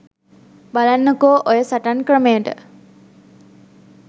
බලන්නකෝ ඔය සටන් ක්‍රමයට